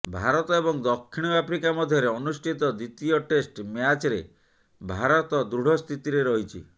ଭାରତ ଏବଂ ଦକ୍ଷିଣ ଆଫ୍ରିକା ମଧ୍ୟରେ ଅନୁଷ୍ଠିତ ଦ୍ବିତୀୟ ଟେଷ୍ଟ ମ୍ୟାଚ୍ରେ ଭାରତ ଦୃଢ ସ୍ଥିତିରେ ରହିଛି